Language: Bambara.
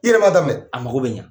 E yɛrɛ m'a daminɛ, a mago bɛ ɲɛ.